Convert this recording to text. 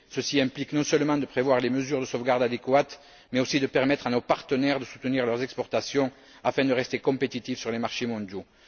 Ceci implique non seulement de prévoir les mesures de sauvegarde adéquates, mais aussi de permettre à nos partenaires de soutenir leurs exportations afin de rester compétitifs sur les marchés mondiaux.